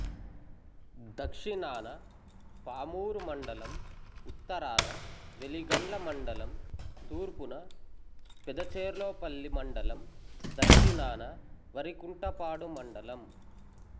దక్షిణాన పామూరు మండలం ఉత్తరాన వెలిగండ్ల మండలం తూర్పున పెదచెర్లోపల్లి మండలం దక్షణాన వరికుంటపాడు మండలం